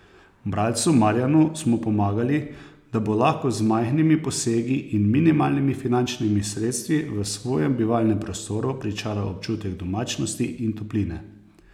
Bralcu Marjanu smo pomagali, da bo lahko z majhnimi posegi in minimalnimi finančnimi sredstvi v svojem bivalnem prostoru pričaral občutek domačnosti in topline.